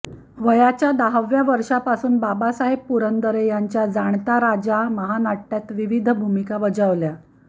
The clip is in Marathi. वयाच्या दहाव्या वर्षापासून बाबासाहेब पुरंदरे यांच्या जाणता राजा महानाट्यात विविध भूमिका बजावल्या